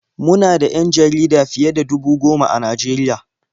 Mu na da 'yan jarida fiye da dubu goma a Najeriya.